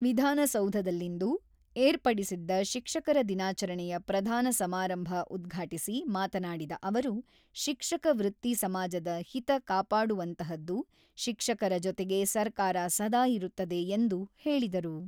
ವಿಧಾನಸೌಧದಲ್ಲಿಂದು ಏರ್ಪಡಿಸಿದ್ದ ಶಿಕ್ಷಕರ ದಿನಾಚರಣೆಯ ಪ್ರಧಾನ ಸಮಾರಂಭ ಉದ್ಘಾಟಿಸಿ ಮಾತನಾಡಿದ ಅವರು, ಶಿಕ್ಷಕ ವೃತ್ತಿ ಸಮಾಜದ ಹಿತ ಕಾಪಾಡುವಂತಹದ್ದು, ಶಿಕ್ಷಕರ ಜೊತೆಗೆ ಸರ್ಕಾರ ಸದಾ ಇರುತ್ತದೆ ಎಂದು ಹೇಳಿದರು.